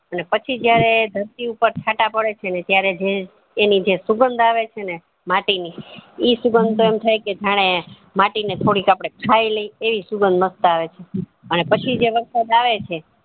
અને પછી જયારે ધરતી ઉપર છાંટા પડે છે ને ત્યારે જે એની જે સુગંધ આવે છે ને માટી ની, એ સુગંધ તો એમ થઇ કે જાણે માટી ને થોડીક આપડે ખાઈ લઇ એવી સુઞાધ માસ્ટ આવે, અને પછી જે વરસાદ આવે છે